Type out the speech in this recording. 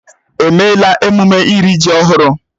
Èmeéla emume iri ji ọhụrụ?